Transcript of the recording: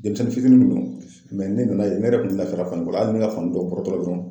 Denmisɛnnin fitinin kun don ne nana ye ne yɛrɛ kun tɛ lafiya ne ka fani dɔn bɔrɔtɔla dɔrɔn.